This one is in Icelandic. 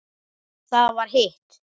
Það var hitt.